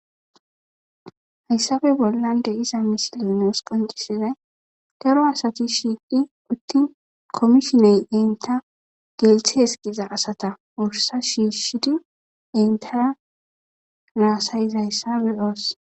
Hayssappe bollan de'iza misiley nus qoncisizay daro asati shiiqi uttin komishiney inta gelthes giza asata wursa shiishidi intara haasayizayssa be'oos.